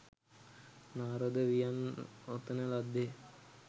නාරද වියන් ඔතන ලද්දේ